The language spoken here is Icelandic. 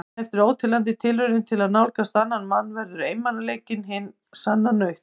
En eftir óteljandi tilraunir til að nálgast annan mann verður einmanaleikinn hin sanna nautn.